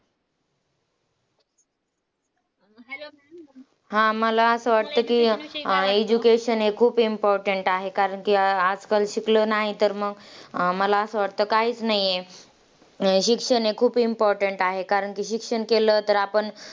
हां मला असं वाटतं की education हे खूप important आहे, कारण की आजकाल शिकलो नाही तर मग मला असं वाटतं काहीच नाही. शिक्षण हे खूप important आहे, कारण की शिक्षण केलं तर आपण